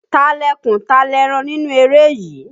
Ta lẹkùn, ta lẹ́ran nínú eré yìí?